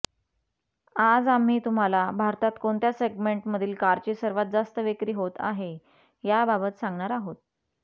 आज आम्ही तुम्हाला भारतात कोणत्या सेगमेंटमधील कारची सर्वात जास्त विक्री होत आहे याबाबत सांगणार आहोत